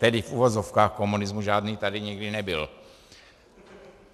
Tedy v uvozovkách komunismu, žádný tady nikdy nebyl.